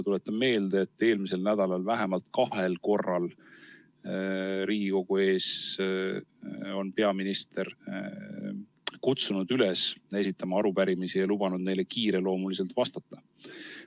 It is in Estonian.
Tuletan meelde, et eelmisel nädalal on peaminister vähemalt kahel korral Riigikogu ees olles kutsunud üles esitama arupärimisi ja lubanud neile kiiresti vastata.